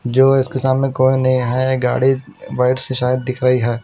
जो इसके सामने कोई नही है गाड़ी बस सायद दिख रहे है।